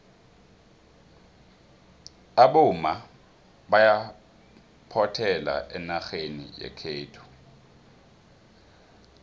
abomma bayaphothela enarheni yekhethu